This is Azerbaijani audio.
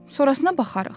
Sonrasına baxarıq.